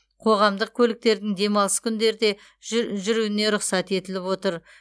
қоғамдық көліктердің демалыс күндерде жү жүруіне рұқсат етіліп отыр